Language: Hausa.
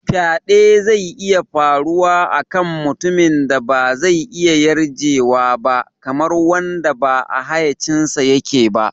Faɗe zai iya faruwa a kan mutumin da ba zai iya yarjewa ba, kamar wanda ba a hayyacinsa yake ba.